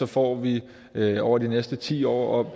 får vi over de næste ti år